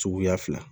Suguya fila